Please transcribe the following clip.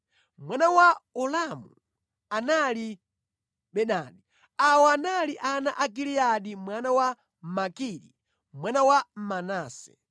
Mwana wa Ulamu anali Bedani. Awa anali ana a Giliyadi mwana wa Makiri, mwana wa Manase.